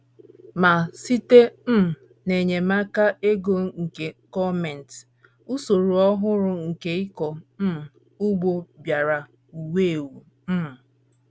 Ma, site um n’enyemaka ego nke gọọmenti, usoro ọhụrụ nke ịkọ um ugbo bịara wuwe ewuwe um.